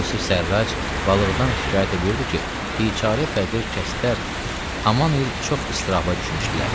Yusif Sərrac balıqdan şikayət eləyirdi ki, biçara fəqir kəslər haman il çox istiraba düşmüşdülər.